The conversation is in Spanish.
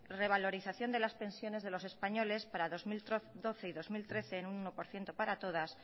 revalorización de las pensiones de los españoles para dos mil doce y dos mil trece en un uno por ciento para todas